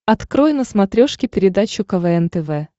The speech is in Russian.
открой на смотрешке передачу квн тв